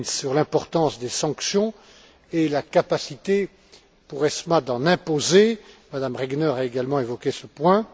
Klinz sur l'importance des sanctions et la capacité pour ESMA d'en imposer. Mme Regner a également évoqué ce point.